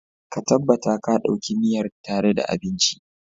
ka tabbata ka Dauki miyar tare da abinci